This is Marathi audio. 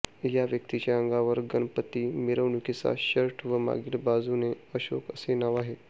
या व्यक्तीच्या अंगावर गणपती मिरवणुकीचा शर्ट व मागील बाजूने अशोक असे नाव आहे